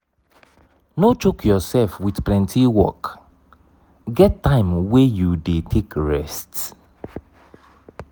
no choke yourself with plenty work get time wey you de take rest